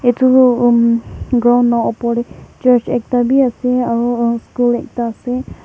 Etutu um ground la opor tey church ekta bi ase aro uh school ekta ase.